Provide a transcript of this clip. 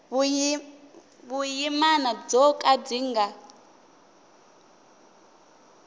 vuyimana byo ka byi nga